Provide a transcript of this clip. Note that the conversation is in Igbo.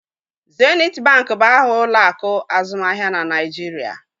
Zenit bank bụ aha ụlọ akụ azụmaahịa na Naịjirịa